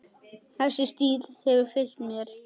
Þessi stíll hefur fylgt mér.